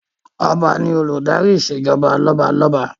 Ọba ni Olùdarí ìṣèjọba lọ́balọ́ba